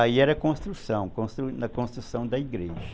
Aí era construção, constru na construção da igreja.